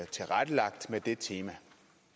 tilrettelagt med det som tema